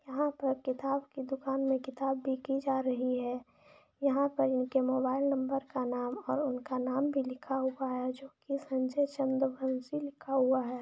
यहाँ पे किताब की दुकान में किताब देखि जा रही है यहाँ पर उनके मोबाइल नंबर का नाम और उनका नाम भी लिखा हुआ है जो की संजय चंदू मुंशी लिखा हुआ है।